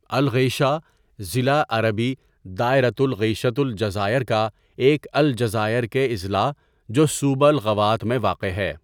الغیشہ ضلع عربی دائرة الغيشة الجزائر کا ایک الجزائر کے اضلاع جو صوبہ الاغواط میں واقع ہے.